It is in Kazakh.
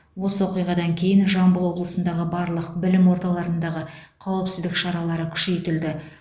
осы оқиғадан кейін жамбыл облысындағы барлық білім орталарындағы қауіпсіздік шаралары күшейтілді